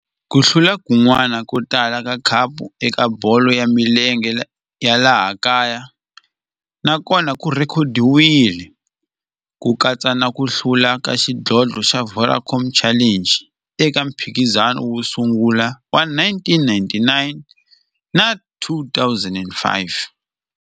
Ku hlula kun'wana ko tala ka khapu eka bolo ya milenge ya laha kaya na kona ku rhekhodiwile, ku katsa na ku hlula ka xidlodlo xa Vodacom Challenge eka mphikizano wo sungula wa 1999 na 2005.